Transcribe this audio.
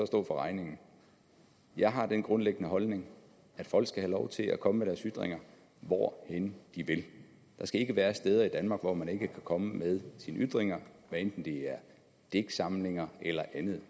stå for regningen jeg har den grundlæggende holdning at folk skal have lov til at komme med deres ytringer hvor end de vil der skal ikke være steder i danmark hvor man ikke kan komme med sine ytringer hvad enten det er digtsamlinger eller andet